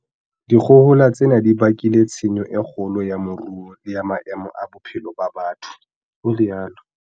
"Dikgohola tsena di bakile tshenyo e kgolo ya moruo le ya maemo a bophelo ba batho," o rialo